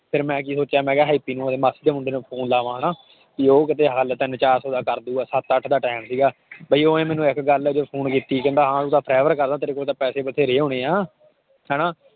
ਫਿਰ ਮੈਂ ਕੀ ਸੋਚਿਆ ਮੈਂ ਕਿਹਾ ਹੈਪੀ ਨੂੰ ਮੇਰੇ ਮਾਸੀ ਦੇ ਮੁੰਡੇ ਨੂੰ phone ਲਾਵਾਂ ਹਨਾ ਵੀ ਉਹ ਕਿਤੇ ਹੱਲ ਤਿੰਨ ਚਾਰ ਸੌ ਦਾ ਕਰ ਦਊਗਾ ਸੱਤ ਅੱਠ ਦਾ time ਸੀਗਾ ਬਾਈ ਉਹਨੇ ਮੈਨੂੰ ਇੱਕ ਗੱਲ ਕਹਿੰਦਾ ਹਾਂ ਤੂੰ ਤਾਂ ਤੇਰੇ ਕੋਲ ਤਾਂ ਪੈਸੇ ਬਥੇਰੇ ਹੋਣੇ ਆਂ ਹਨਾ